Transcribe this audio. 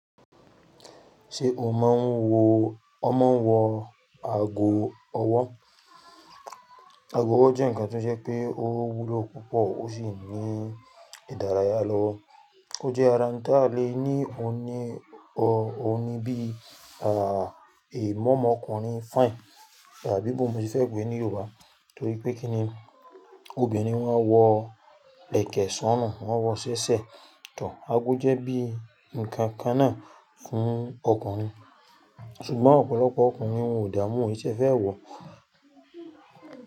Ṣé o máa ń wo ọ mọ wọ ago ọwọ́? Ago ọwọ́ jẹ́ ǹkan tó ṣe pé ó wúlò púpọ̀ ó sì ní ìdárayá lọ́wọ́. Ó jẹ́ ara ǹti a lè ní ọun ní bí imu omọ ọkùnrin fine àbí bawo n mo ti fẹ́ pè é ní Yorùbá. Nítorí pé kí ni obìnrin wọn wọ lẹ̀kẹ̀ sọrun, wọ́n wọ ṣẹ́ṣẹ́. Tor aago jẹ́ bí ǹkankan náà fún ọkùnrin. Ṣùgbọ́n ọ̀pọ̀lọpọ̀ ọkùnrin wọn ò dámú won o kin tí ẹ fẹ́ wọ̀